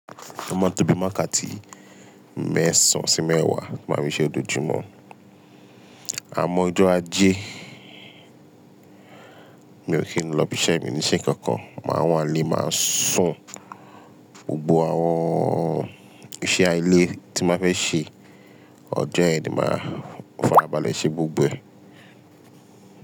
O máa n tó bii wakàtí mẹ́sàn sí mẹ́wàá, máa fí siṣẹ́ lojoojúmọ́. Àmọ́ ọjọ́ ajé mi ò kí n lọ ibi iṣẹ́, mì ní ṣe nkankan. Máa wá ilé, máa sún gbogbo àwọn ìṣe ilé tí máa fẹ́ ṣe. Ọjọ́ yẹn ni máa farabalẹ̀ ṣe gbogbo ẹ̀.